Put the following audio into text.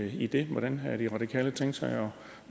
i det hvordan har de radikale tænkt sig at